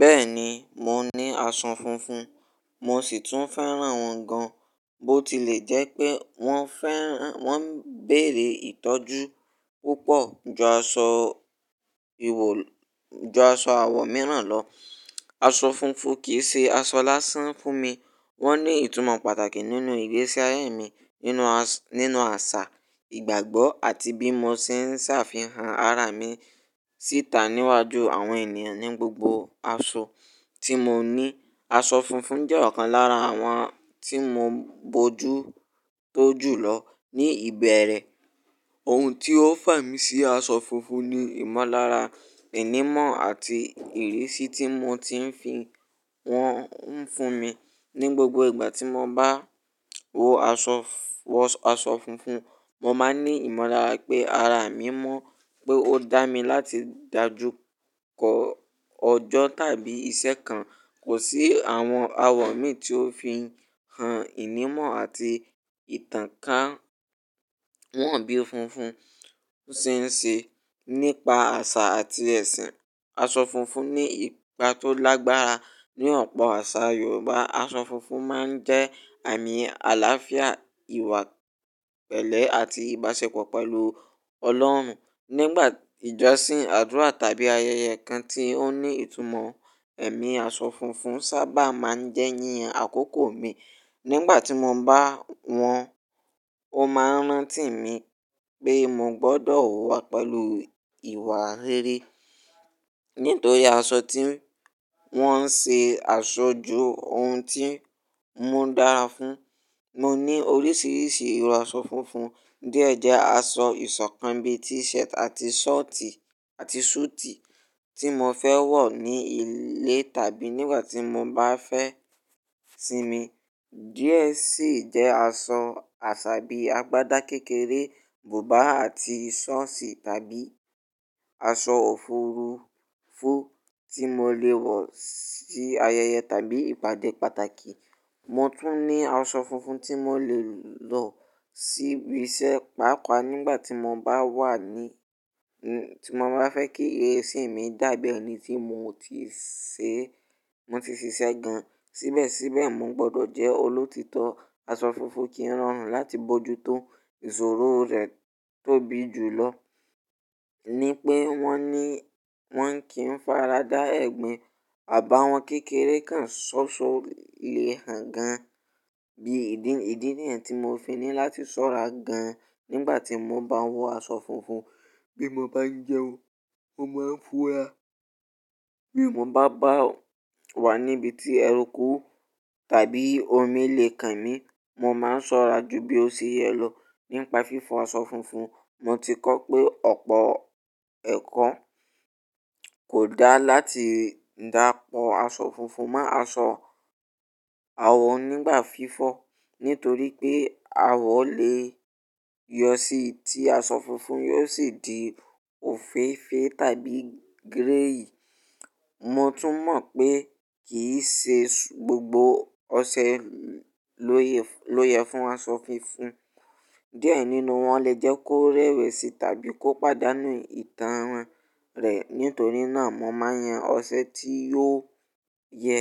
Bẹ́ẹ̀ni, mò ní aṣọ funfun, mò sì tún féràn wọ́n gan. Bó ti lè jẹ́ pé wọ́n béèrè ìtọ́jú púpọ̀ ju aṣọ àwọ̀n mìíràn lọ, aṣọ funfun kì í ṣe aṣọ lásán fún mi. Wọ́n ní ìtumọ̀ pàtàkì nínú ìgbésí ayé mi, nínú àṣà, ìgbàgbọ́ àti bí mò ti ṣe ń ṣàfihàn ara mi síta níwájú àwọn ènìyàn. Ni gbogbo aṣọ tí mò ní, aṣọ funfun jẹ́ ọ̀kan lára àwọn tí mò bójú tó jù lọ ní ìbẹ̀rẹ̀. Ohun tí ó fà mí sí aṣọ funfun ni ìmọlára, ìnímò àti ìrísí tí mò ti ń fi wọ́n fún mi. Ni gbogbo ìgbà tí mò bá wọ aṣọ funfun, mò máa ní ìmọ̀lára pé ara mi mọ́, pé ó dá mi láti dàjú kọ́ ọjọ́ tàbí ìṣẹ́ kan. Kò sí àwọn àwọ̀ mi tí ó fi hàn ìnímò àti ìtàn ká wọ́n bí funfun ṣe ń ṣe nípa àṣà àti ẹ̀sìn. Aṣọ funfun ní ipa tó lágbára ní ọ̀pọ̀ àṣà Yorùbá. Aṣọ funfun máa ń jẹ́ àmì àlàáfíà, ìwà pẹ̀lẹ́ àti ìbáṣepọ̀ pẹ̀lú Ọlọ́run. Ni ìgbà ìjọsìn, àdúrà tàbí ayẹyẹ kan tí ó ní ìtumọ̀ ẹ̀mí, aṣọ funfun sábà máa ń jẹ́ yíyan àkókò mi. Ni ìgbà tí mò bá wọ̀, ó máa ń rántí mi pé mò gbọ́dọ̀ wá pẹ̀lú ìwà rere. Nítorí aṣọ tí wọ́n ń ṣe àṣojú ohun tí mò dára fún. Mò ní oríṣiríṣi irú aṣọ funfun. Díẹ̀ jẹ́ aṣọ ìsọ̀kan bíi t-shirt àti súùtì tí mò fẹ́ wọ̀ ní ilé tàbí nígbà tí mò bá fẹ́ sinmi. Díẹ̀ sì jẹ́ aṣọ àṣà bíi agbádá kékeré, bùbá àti sọ́ọ̀tì tàbí aṣọ òfurufú tí mò lè wọ̀ sí ayẹyẹ tàbí ìpàdé pàtàkì. Mò tún ní aṣọ funfun tí mò lè lọ síbi iṣẹ́, pàápàá nígbà tí mò bá fẹ́ kí ìrísí mi dàbí ẹni tí mò ti ṣe iṣẹ́ gan. Síbẹ̀síbẹ̀, mò gbọ́dọ̀ jẹ́ olótítọ́. Aṣọ funfun kìí rọrùn láti bójú tó, ìṣòro rẹ̀ tóbi jùlọ ni pé wọ́n kì í fará dá ẹ̀gbin, àbáwọ́n kékèré kan sọ̀sọ̀ lè hàn gan. Bí ìdí nìyẹn tí mò fin ní láti ṣọ́ra gan nígbà tí mò bá ń wọ aṣọ funfun. Bí mò bá ń jẹun, mò máa ń fura. Bí mò bá wà níbi tí ẹrú kú tàbí omi lè kàn mí, mò máa ń ṣọ́ra ju bí ó ṣe yẹ lọ. Nípa fífọ̀ aṣọ funfun, mò ti kọ́ pé ọ̀pọ̀ ẹ̀kọ́ kò dá láti dàpọ̀ aṣọ funfun mọ́ aṣọ àwọ̀ nígbà fífọ̀. Nítorí pé àwọ̀ lè yọ sí i tí aṣọ funfun yóò sì di òféèfé tàbí gíréyì. Mò tún mọ̀ pé kì í ṣe gbogbo ọṣẹ ló ye fún aṣọ funfun. Díẹ̀ nínú wọn lè jẹ́ kó rẹwẹ̀sì tàbí kó pàdánù ìtàn rẹ̀. Nítorí náà, mò máa ń yan ọṣẹ tí yóò ye